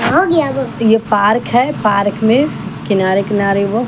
ये पार्क हैं पार्क में किनारे-किनारे वो--